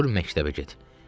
Dur məktəbə get.